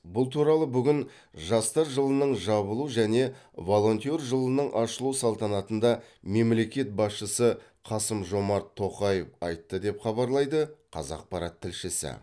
бұл туралы бүгін жастар жылының жабылу және волонтер жылының ашылу салтанатында мемлекет басшысы қасым жомарт тоқаев айтты деп хабарлайды қазақпарат тілшісі